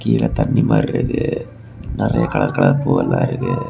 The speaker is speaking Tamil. கீழ தண்ணி மாரி இருக்கு. நெறைய கலர் கலர் பூவெல்லா இருக்கு.